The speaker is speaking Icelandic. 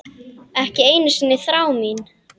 Ekki einu sinni þrá mín.